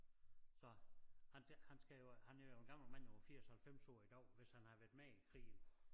Så han han skal jo han er jo en gammel mand over 80 90 år i dag hvis han har været med i krigen